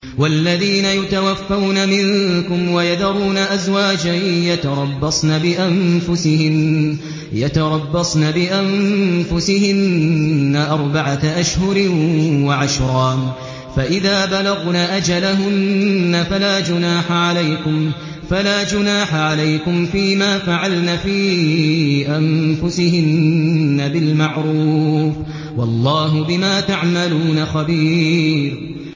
وَالَّذِينَ يُتَوَفَّوْنَ مِنكُمْ وَيَذَرُونَ أَزْوَاجًا يَتَرَبَّصْنَ بِأَنفُسِهِنَّ أَرْبَعَةَ أَشْهُرٍ وَعَشْرًا ۖ فَإِذَا بَلَغْنَ أَجَلَهُنَّ فَلَا جُنَاحَ عَلَيْكُمْ فِيمَا فَعَلْنَ فِي أَنفُسِهِنَّ بِالْمَعْرُوفِ ۗ وَاللَّهُ بِمَا تَعْمَلُونَ خَبِيرٌ